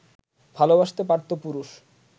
ভালোবাসতে পারতো পুরুষ